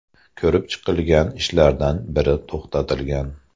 Ko‘rib chiqilgan ishlardan biri to‘xtatilgan.